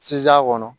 Sizan kɔnɔ